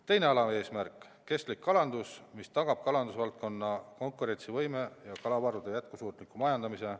Teine alaeesmärk: kestlik kalandus, mis tagab kalandusvaldkonna konkurentsivõime ja kalavarude jätkusuutliku majandamise.